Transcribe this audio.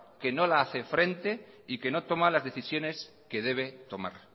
que no la hace frente y que no toma las decisiones que debe tomar